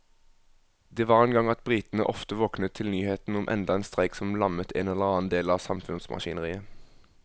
Det var en gang at britene ofte våknet til nyhetene om enda en streik som lammet en eller annen del av samfunnsmaskineriet.